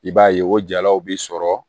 I b'a ye o jalaw bi sɔrɔ